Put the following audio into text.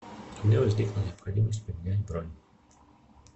у меня возникла необходимость поменять бронь